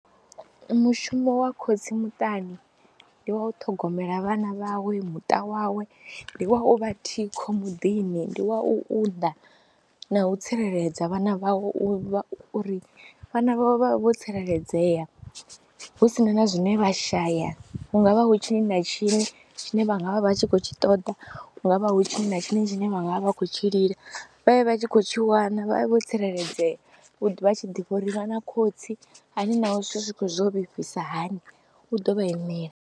Mushumo wa khotsi muṱani ndi wa u ṱhogomela vhana vhawe, muṱa wawe, ndi wa u vha thikho muḓini, ndi wa u unḓa na u tsireledza vhana vhawe uri vhana vhawe vha vhe vho tsireledzea hu si na na zwine vha shaya. Hu nga vha hu tshini na tshini tshine vha nga vha vha tshi khou tshi ṱoḓa, hu nga vha hu tshini na tshini tshine vha nga vha vha khou tshi lila vha vhe vha tshi khou tshi wana, vha vhe vho tsireledzea, u ḓo vha a tshi ḓivha uri vha na khotsi hani naho zwithu zwi khou zwo lifhisa hani u ḓo vha imela.